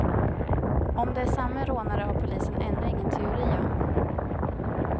Om det är samme rånare har polisen ännu ingen teori om.